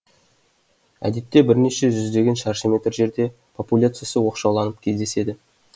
әдетте бірнеше жүздеген шаршы метр жерде популяциясы оқшауланып кездеседі